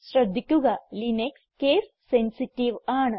ശ്രദ്ധിക്കുക Linux case sensitive ആണ്